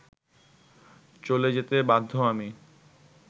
চলে যেতে বাধ্য আমি